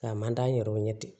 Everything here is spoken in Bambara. A man d'an yɛrɛw ɲɛ ten